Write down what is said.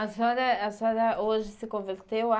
A senhora a senhora hoje se converteu a?